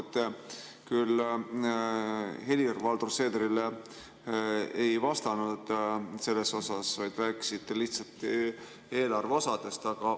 Te küll Helir-Valdor Seederile ei vastanud selle kohta, vaid rääkisite lihtsalt eelarve osadest.